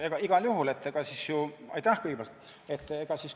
No igal juhul!